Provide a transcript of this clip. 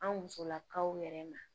An musolakaw yɛrɛ ma